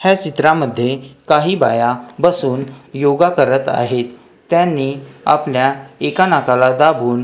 ह्या चित्रामध्ये काही बाया बसून योगा करत आहेत त्यांनी आपल्या एका नाकाला दाबून--